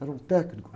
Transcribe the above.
Era um técnico